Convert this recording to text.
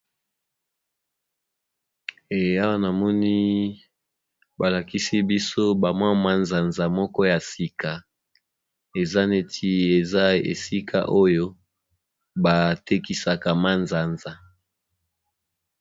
Awa na moni balakisi biso bacmwa nzanza moko ya sika eza neti eza esika oyo batekisaka ma nzanza.